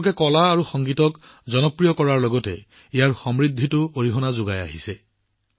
এইবোৰ লগতে কলা আৰু সংগীত জগতৰ বৰ্ধিত জনপ্ৰিয়তাই তেওঁলোকৰ সমৃদ্ধিত অৰিহণা যোগাইছে